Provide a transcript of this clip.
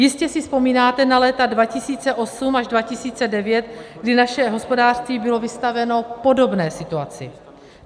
Jistě si vzpomínáte na léta 2008 až 2009, kdy naše hospodářství bylo vystaveno podobné situaci.